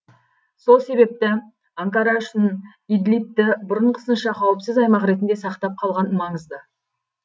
сол себепті анкара үшін идлибті бұрынғысынша қауіпсіз аймақ ретінде сақтап қалған маңызды